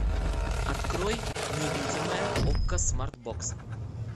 открой невидимая окко смарт бокс